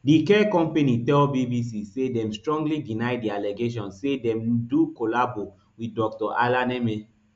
di care company tell bbc say dem strongly deny di allegation say dem do collabo wit dr alaneme